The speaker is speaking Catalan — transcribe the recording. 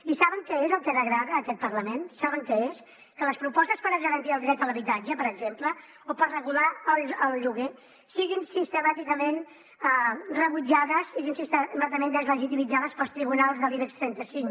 i saben què és el que degrada aquest parlament saben què és que les propostes per garantir el dret a l’habitatge per exemple o per regular el lloguer siguin sistemàticament rebutjades siguin sistemàticament deslegitimitzades pels tribunals de l’ibex trenta cinc